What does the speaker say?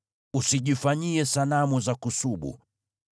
“Usijifanyie sanamu za kusubu.